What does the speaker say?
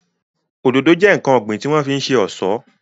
Òdòdó jẹ́ ǹkan ọ̀gbìn tí wọ́n fi ń ṣe ọ̀ṣọ́